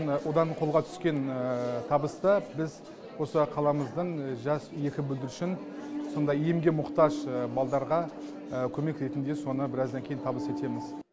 одан қолға түскен табысты біз осы қаламыздың жас екі бүлдіршін сондай емге мұқтаж балдарға көмек ретінде соны біраздан кейін табыс етеміз